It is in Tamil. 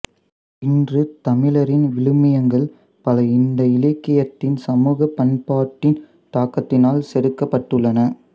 இன்று தமிழரின் விழுமியங்கள் பல இந்த இலக்கியத்தின் சமூக பண்பாட்டின் தாக்கத்தினால் செதுக்கப்பட்டுள்ளன